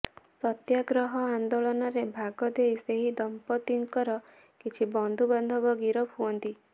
ସତ୍ୟାଗ୍ରହ ଆନ୍ଦୋଳନରେ ଭାଗ ଦେଇ ସେହି ଦମ୍ପତିଙ୍କର କିଛି ବନ୍ଧୁ ବାନ୍ଧବ ଗିରଫ ହୁଅନ୍ତି